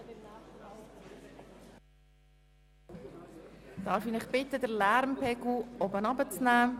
Darf ich Sie bitten, den Lärmpegel zu senken?